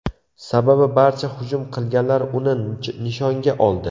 Sababi barcha hujum qilganlar uni nishonga oldi.